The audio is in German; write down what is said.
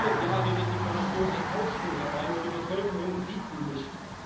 Jedes Jahr redet die Kommission einen Aufschwung herbei, nur Die Bevölkerung sieht ihn nicht.